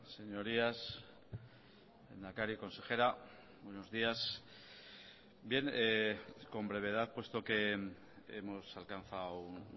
señorías lehendakari consejera buenos días bien con brevedad puesto que hemos alcanzado un